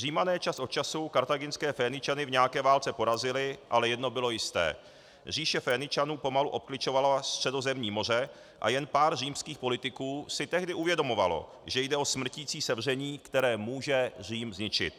Římané čas od času kartáginské Féničany v nějaké válce porazili, ale jedno bylo jisté - říše Féničanů pomalu obkličovala Středozemní moře a jen pár římských politiků si tehdy uvědomovalo, že jde o smrticí sevření, které může Řím zničit.